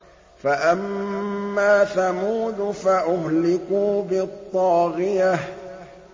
فَأَمَّا ثَمُودُ فَأُهْلِكُوا بِالطَّاغِيَةِ